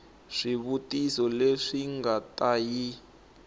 swivutiso leswi nga ta yi